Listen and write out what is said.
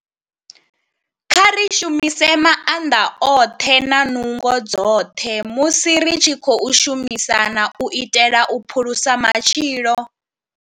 Kha ri shumise maanḓa oṱhe na nungo dzoṱhe musi ri tshi khou shumisana u itela u phulusa matshilo.